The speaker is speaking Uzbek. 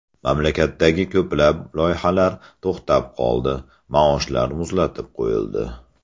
Mamlakatdagi ko‘plab loyihalar to‘xtab qoldi, maoshlar muzlatib qo‘yildi.